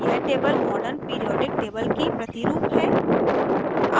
यह table modern periodic table की प्रतिरूप है